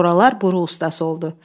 Soralar buru ustası oldu.